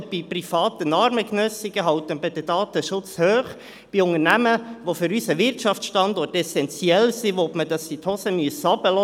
Bei privaten Armengenössigen hält man den Datenschutz hoch, bei Unternehmen, die für unseren Wirtschaftsstandort essentiell sind, will man, dass sie die Hosen runterlassen müssen.